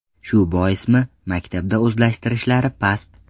Shu boismi, maktabda o‘zlashtirishlari past.